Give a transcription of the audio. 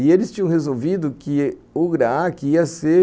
E eles tinham resolvido que o Graac ia ser